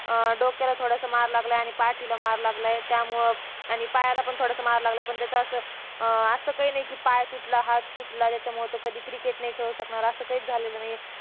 अं डोक्याला थोडासा मार लागला ये आणि पाठीला थोडासा मार लागला ये त्यामुळं आणि पायाला पण थोडासा मार लागलाय पण त्याच असं काही नाही पाय तुटला हात तूटला कधीच cricket नाही खेळू शकणार